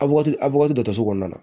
A waati a wagati dɔ to so kɔnɔna na